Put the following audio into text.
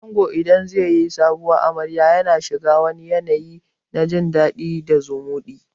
Ango idan zai yi Sabuwar amarya yana shiga wani yanayi na jin dadi da zumuɗi